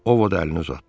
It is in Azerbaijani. Ovod əlini uzatdı.